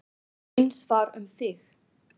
Eins var um þig.